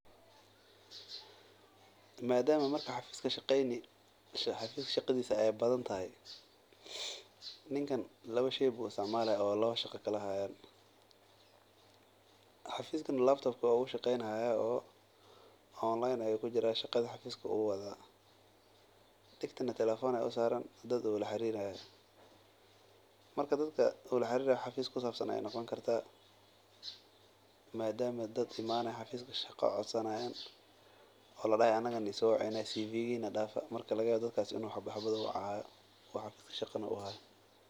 Madama marka aad xafiis ka shaqeyni aay badan tahay dad badan ayaa jooga madama uu shaqeynayo degna telefoon ayaa saraan laga yaaba dadka inuu wacaayo uu uyeelayo.